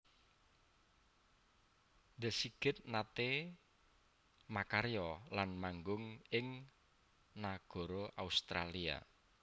The S I G I T naté makarya lan manggung ing nagara Australia